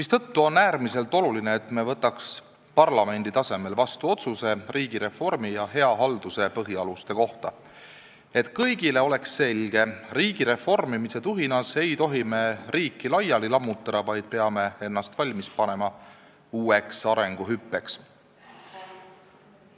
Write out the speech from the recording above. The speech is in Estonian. Seetõttu on äärmiselt oluline, et me võtaks parlamendi tasemel vastu otsuse riigireformi ja hea halduse põhialuste kohta, et kõigile oleks selge: riigi reformimise tuhinas ei tohi me riiki laiali lammutada, vaid peame ennast valmis panema uueks arenguhüppeks.